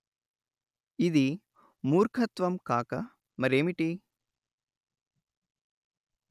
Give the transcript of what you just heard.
ఇది మూర్ఖత్వం కాక మరేమిటి